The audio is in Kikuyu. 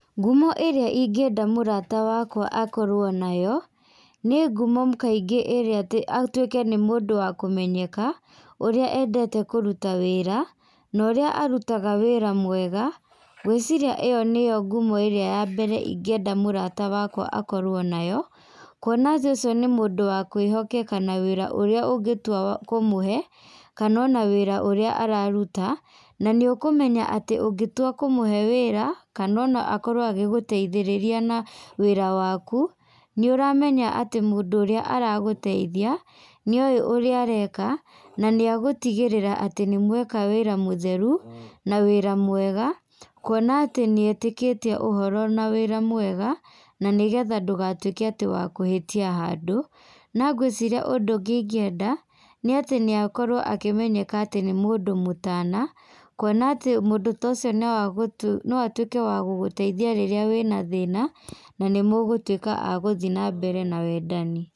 Ngumo ĩrĩa ingĩenda mũrata wakwa akorwo nayo, nĩ ngumo kaingĩ irĩa atĩ atuĩke nĩ mũndũ wa kũmenyeka, ũrĩa endete kũruta wĩra, na ũrĩa arutaga wĩra mwega, ngwĩciria ĩyo nĩyo ngumo irĩa ya mbere ingĩenda mũrata wakwa akorwo nayo, kuona atĩ ũcio nĩ mũndũ wa kwĩhokeka na wĩra ũrĩa ũngĩtua kũmũhe, kana ona wĩra ũrĩa araruta, na nĩ ũkũmenya atĩ ũngĩtua kũmũhe wĩra kana ona akorwo agĩgũteithĩrĩria na wĩra waku, nĩũramenya atĩ mũndũ ũrĩa aragũteithia, nĩ oĩ ũrĩa areka, na nĩ agũtigĩrĩra atĩ nĩmweka wĩra mũtheru, na wĩra mwega, kuona atĩ nĩetĩkĩtie ũhoro na wĩra mwega, na nĩgetha ndũgatuĩke atĩ wa kũhĩtia handũ, nangwĩciria ũndũ ũngĩ ingĩenda, nĩatĩ nĩakorwo akĩmenyeka atĩ nĩ mũndũ mũtana, kuona atĩ mũndũ ta ũcio no agũtu no atuĩke wa gũgũteithia rĩrĩa wĩna thina, na nĩ mũgũtuĩka a gũthiĩ nambere na wendani.